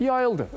Yayıldı.